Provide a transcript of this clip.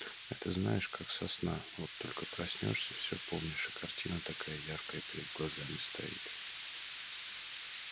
это знаешь как со сна вот только проснёшься все помнишь и картина такая яркая перед глазами стоит